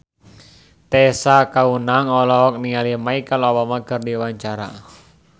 Tessa Kaunang olohok ningali Michelle Obama keur diwawancara